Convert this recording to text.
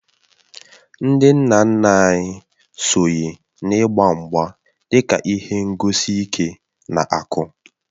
Ndị nna nna anyị sonye n’ịgba mgba dị ka ihe ngosi nke ike na akụ